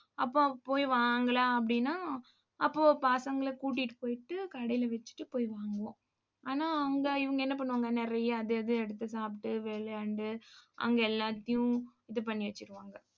அப்போ, போய் வாங்கலாம் அப்படின்னா அப்போ பசங்களை கூட்டிட்டு போயிட்டு கடையில வச்சுட்டு போய் வாங்குவோம். ஆனா அவங்க இவங்க என்ன பண்ணுவாங்க? நிறைய அது அது எடுத்து சாப்பிட்டு விளையாண்டு அங்க எல்லாத்தையும் இது பண்ணி வச்சிருவாங்க